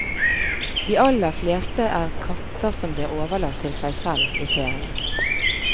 De aller fleste er katter som blir overlatt til seg selv i ferien.